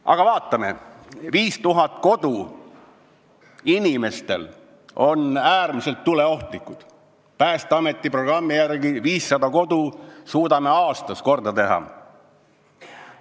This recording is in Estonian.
Aga vaatame: 5000 inimese kodud on äärmiselt tuleohtlikud, Päästeameti programmi järgi suudame aastas korda teha 500 kodu.